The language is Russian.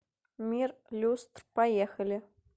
мир люстр поехали